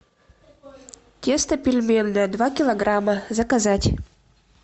тесто пельменное два килограмма заказать